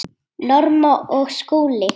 Norma og Skúli.